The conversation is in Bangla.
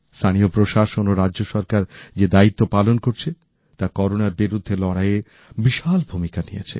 স্থানীয় প্রশাসন ও রাজ্য সরকার যে দায়িত্ব পালন করছে তা করোনার বিরুদ্ধে লড়াইয়ে বিশাল ভূমিকা নিয়েছে